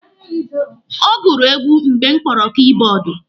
Ọ gụrụ egwu mgbe m kpọrọ kibọọdụ.